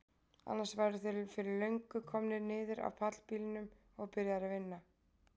Annars væru þeir fyrir löngu komnir niður af bílpallinum og byrjaðir að vinna.